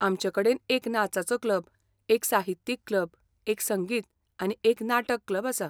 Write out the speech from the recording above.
आमचेकडेन एक नाचाचो क्लब, एक साहित्यीक क्लब, एक संगीत आनी एक नाटक क्लब आसा.